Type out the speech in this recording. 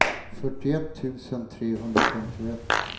fyrtioett tusen trehundrafemtioett